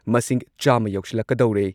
ꯃꯁꯤꯡ ꯆꯥꯃ ꯌꯧꯁꯤꯜꯂꯛꯀꯗꯧꯔꯦ ꯫